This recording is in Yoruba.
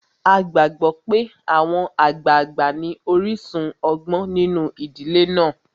A gbàgbó pé àwọn àgbàgbà ní orísun ọgbọ́n nínu ìdílé náà.